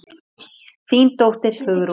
Þín dóttir, Hugrún.